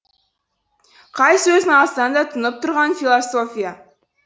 қай сөзін алсаң да тұнып тұрған философия